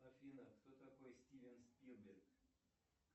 афина кто такой стивен спилберг